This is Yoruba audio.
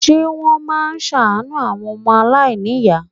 Ṣé wọ́n máa ṣàánú àwọn ọmọ aláìníyàá?